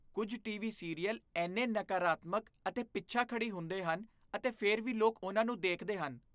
ਕੁੱਝ TV serial ਇੰਨੇ ਨਕਾਰਾਤਮਕ ਅਤੇ ਪਿਛਾਖੜੀ ਹੁੰਦੇ ਹਨ ਅਤੇ ਫਿਰ ਵੀ ਲੋਕ ਉਨ੍ਹਾਂ ਨੂੰ ਦੇਖਦੇ ਹਨ।